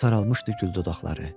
Artıq saralmışdı gül dodaqları.